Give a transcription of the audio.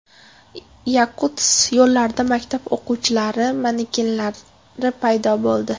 Yakutsk yo‘llarida maktab o‘quvchilari manekenlari paydo bo‘ldi.